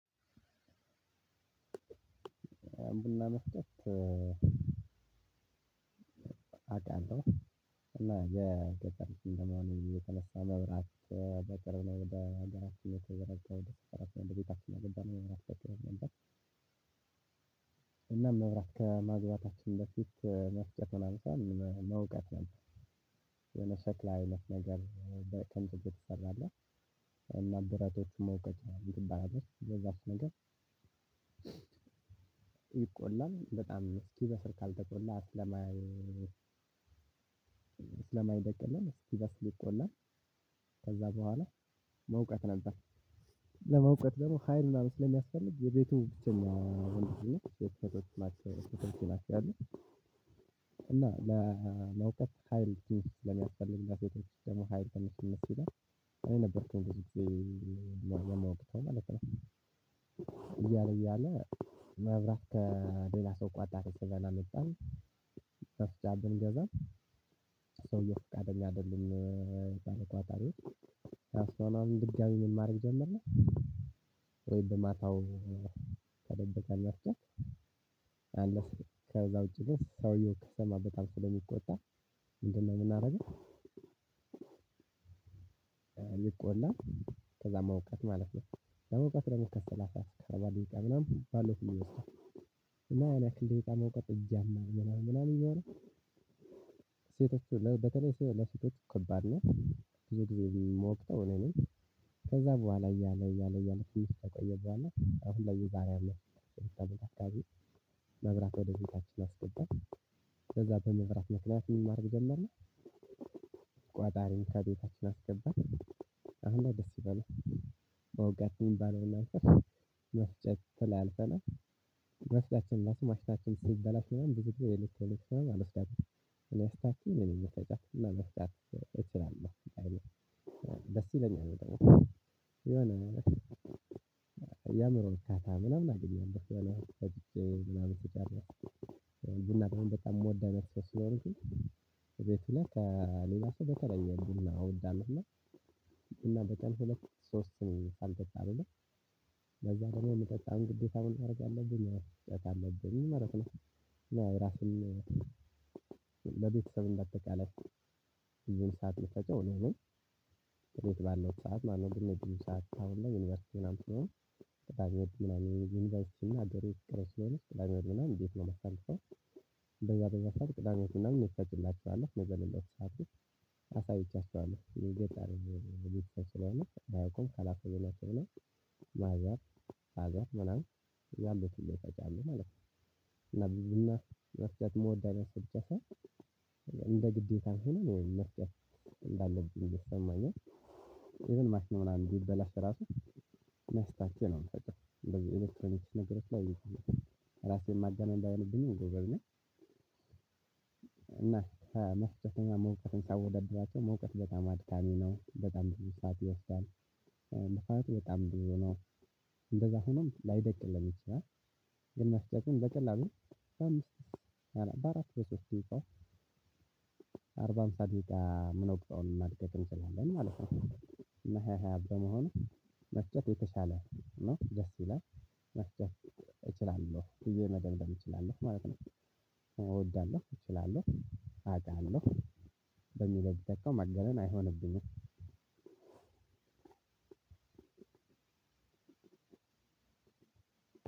አምብል መስጠት አውቃለሁ እና የደጋግሞ ነው የተነሳ መብራት በቅርብ ነው በሀገራችን ወደ ቤታችን ያገኘነው ነበር። እና መብራት ከማግባታችን በፊት መፍጨቱን አልፏል መውቀት ነው የመሰክላ አይነት ነገር በከንቱ ይፈራል። እና ማደራጀት መውቀት ይባላል በዛፍ ነገር። ይቆላል በጣም እስኪ በስል ካልተቆላ አስለማየ ስለማይደቅልን አስኪበስል ይቆላል። ከዛ በኋላ መውቀጥ ነበር። ለመውቀጥ ደግሞ ሀይል ምናምን ስለሚያስፈልግ ይበቱ ብቸኛ ልጅ ነኝ ለሎቹ ሰቶች ናቸው። ለመውቀጥ ሀይል ስለሚያስፈልግ ለሰቶች ደግሞ ስለሚከብድ እኔ ነበርኩ የምወቅጠውማለት ነው። እያለል እያለ መብራት ከለላ ሰው ቆጣሪ ስበን አመጣን። መፍጫ ብንገዛም ሰውየው ፍቃደኛ አደለም። ባለ ቆጣሪው። ድጋሚ ምን ማረግ ጀመርን። ወይም በማታው ተደበቀ መፍጫ አለፍኩኝ። ከዛ ውጪ ግን ሰውየው ከሰማበት አልፎ ስለሚቆጣ። ምንድን ነው እምናደርገው ሊቆላ? ከዛ መውቀጥ ማለት ነው። ለመውቀጥ ደግሞ ከሰላሳ ከረባ ደቂቃ ምናምን ባለው ይወስዳል። እና ያን ያክል ደቂቃ መውቀጥ እጂ ያማል ምናምን እየሆነ። ሴቶች በተለይ ለሴቶች ከባድ ነው። ብዙ ጊዜ የምወቅጠው እኔ ነኝ። ከዛ በኋላ እያለ እያለ እያለ ተቆየ በኋላ አሁን ላይ የዛሬ አመት አከባቢ መብራት ወደ ቤታችን አስገባን። ከዛ በመብራት ምክንያት ምን ማርግ ጀመርን? ቋጣሪን ከቤታችን አስገባን። አሁን ላይ ደስ ይላል። በውጋችን ባለውና እንትን መፍጨት ላይ ተላልፈናል። መፍጫችን ለስም አስታችን ሲበላሽ ምናምን ብዙ ጊዜ ልክ ልክ አልወስዳችንም እኔ አስተካክየ እኔ ነኝ እምፈጫት እና መፍጨት እችላለሁ። ደስ ይለኛል በጣም የሆነ የአምሮ እርካታ ምናምን አገኛለሁ። ፈጭቸ ምናምን ስጨርስ። ቡና ደሞ በታም እምወድ አይነት ሰው ስለሆንኩኝ። ከቤትና ከሌላ ሰው በተለየ ቡና እውዳለው። ሶስት አልጠጣም እና። ለዛ ደግሞ የምጠጣውን ግዴታ መሆን አደርጋለሁ ግን መራቅ ነው። ራስን ለቤተሰብ በአጠቃላይ ሰዓት መፈጨው እኔ ነኝ እኔ ባለው ሰዓት ማነው ብዙ ሰዓት ታውለው ላይ ዩኒቨርሲቲ ምናምን። ቀዳሚ ምናምን ዩኒቨርሲቲ እና አዶሬ ቀዳሚ ምናምን ዲፕሎማ መሰለህ እንደዛ እንደዛ ቅዳሜያችንን እንመሳጭላችኋለን ነገር ለሁሉም። አሳይቻችኋለሁ የገጠር ነው የሚሉት ተስሏል ባያቁም ከላኩ ነው። ማዛር ማዛር ምናምን ያሉት ይጫቻሉ ማለት ነው። ነው እና መፍጨት እምወድ ብቻ ሳይሆን እንደ ግዴታ ሆኖ ነው መስቀል እንዳለብኝ እየተሰማኛ ነው። ማሽን ምናምን ቢበላሽ ራሱ መስታቸው ነው መስታቸው እንደዚህ ኤሌክትሮኔትስ ነግረሽ ላይ ራሴን ማጋነን እንዳሆንብኝ ጎበዝ ነኝ። እና መስጠተኛ መውቀጥን ሳወዳድራቸው መውቀጥ በጣም አድካሚ ነው በጣም በጣም ብዙ ሰዓት ይወስዳል። በጣም በጣም ነው። እንደዛ ሆኖም ላይደቅልህ ይችላል። የነሱ ግን በቀላሉ በአምስት በአራት በሶስት ደቂቃው ሰዓት ላይ ጋር ምን ነው ብቃውን ማድረግ እንችላለን ማለት ነው። እና ሃያ ሃያ በመሆኑ መፍጨት የተሻለ ነው ደስ ይላል። መፍጨት እችላለሁ ብየ መደምደም እችላለሁ ማለት ነው። እወዳለሁ እችላለሁ አውቃለሁ በሚለድቀው ማጋነን አይሆንብኝም።